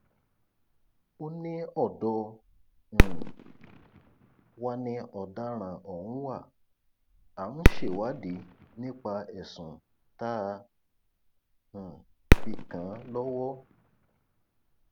ó ní ọdọ um wa ni ọdaràn ohùn wa à ń ṣèwádì nípa ẹsùn tá a um fi kàn án lọwọ